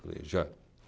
Falei já.